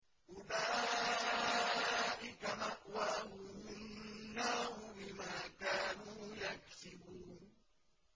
أُولَٰئِكَ مَأْوَاهُمُ النَّارُ بِمَا كَانُوا يَكْسِبُونَ